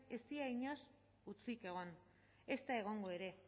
ez dira inoiz hutsik egon ezta egongo ere